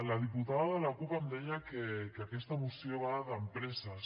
la diputada de la cup em deia que aquesta moció va d’empreses